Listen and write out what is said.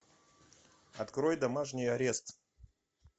открой домашний арест